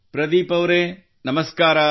ಪ್ರದೀಪ್ ಅವರೆ ನಮಸ್ಕಾರ